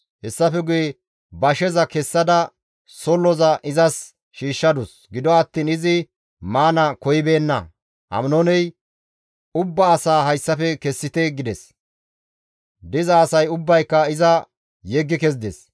Hessafe guye basheza kessada solloza izas shiishshadus; gido attiin izi maana koyibeenna. Aminooney, «Ubba asaa hayssafe kessite» gides; diza asay ubbayka iza yeggi kezides.